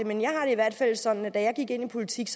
i hvert fald sådan at da jeg gik ind i politik